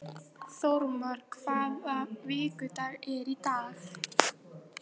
Þórmar, hvaða vikudagur er í dag?